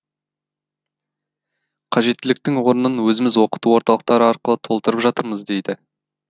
қажеттіліктің орнын өзіміз оқыту орталықтары арқылы толтырып жатырмыз дейді